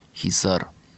хисар